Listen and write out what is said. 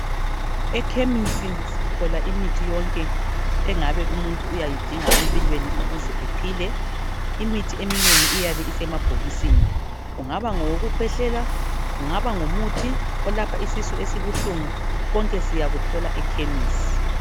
Ekhemisi sithola imithi yonke engaba umuntu uyayidinga empilweni ukuze ephile. Imithi eminengi iyabe isemabhokisini, ungaba ngowoku khwehlela ungaba ngumuthi olapha isisu esibuhlungu konke siyakuthola ekhemisi.